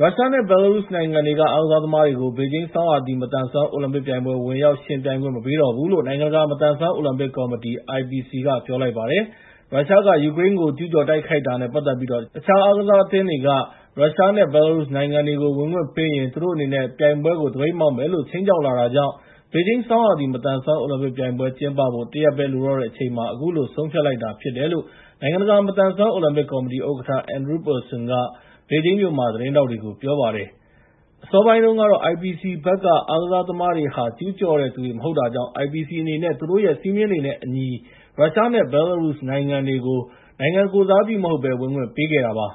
ရုရှားနဲ့ဘဲလာရုစ်နိုင်ငံက အားကစားသမားတွေကို ဘေဂျင်းဆောင်းရာသီ မသန်စွမ်းအိုလံပစ်ပြိုင်ပွဲ ဝင်ရောက် ယှဉ်ပြိုင်ခွင့် မပေးတော့ဘူးလို့ နိုင်ငံတကာ မသန်စွမ်းအိုလံပစ်ကော်မတီ (IPC) က ပြောလိုက်ပါတယ်။ ရုရှားက ယူကရိန်းကို ကျူးကျော် တိုက်ခိုက်တာနဲ့ပတ်သက်ပြီး တခြားအားကစားအသင်းတွေက ရုရှားနဲ့ဘဲလာရုစ်နိုင်ငံတွေကို ဝင်ခွင့်ပေးရင် သူတို့အနေနဲ့ ပြိုင်ပွဲကို သပိတ်မှောက်မယ်လို့ ခြိမ်းခြောက်လာတာကြောင့် ဘေဂျင်း ဆောင်းရာသီ မသန်စွမ်း အိုလံပစ်ပွဲကျင်းပဖို့ တရက်ပဲလိုတော့တဲ့အချိန်မှာ အခုလို ဆုံးဖြတ်လိုက်တာဖြစ်တယ်လို့ နိုင်ငံတကာ မသန်စွမ်း အိုလံပစ်ကော်မတီဥက္ကဋ္ဌ Andrew Parsons က ဘေဂျင်းမြို့မှာ သတင်းထောက်တွေကို ပြောပါတယ်။ အစောပိုင်းတုန်းကတော့ IPC ဘက်က အားကစားသမားတွေဟာ ကျူးကျော်တဲ့သူတွေမဟုတ်တာကြောင့် IPC အနေနဲ့ သူတို့ရဲ့စည်းမျဉ်းတွေနဲ့အညီ ရုရှားနဲ့ဘဲလာရုစ်နိုင်ငံတွေကို နိုင်ငံကိုယ်စားပြုမဟုတ်ဘဲ ဝင်ခွင့်ပေးခဲ့တာပါ